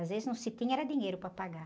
Às vezes não se tinha, era dinheiro para pagar.